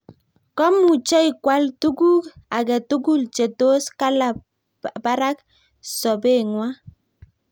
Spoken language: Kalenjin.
Komuchoi kwal tukk ake tukul che tos kalab barak sobengwai